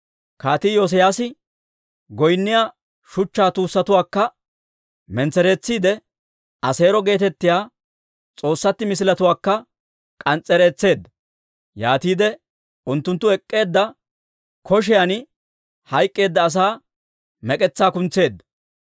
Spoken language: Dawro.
Kaatii Iyoosiyaase goynniyaa shuchchaa tuussatuwaakka mentsereetsiide, Aseero geetettiyaa s'oossatti misiletuwaakka k'ans's'ereetseedda. Yaatiide unttunttu ek'k'eedda koshiyan hayk'k'eedda asaa mek'etsaa kuntseedda.